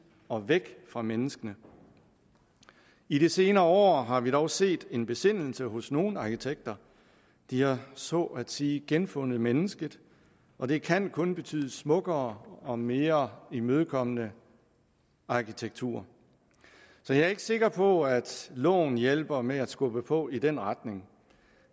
og væk fra menneskene i de senere år har vi dog set en besindelse hos nogle arkitekter de har så at sige genfundet mennesket og det kan kun betyde smukkere og mere imødekommende arkitektur så jeg er ikke sikker på at loven hjælper med at skubbe på i den retning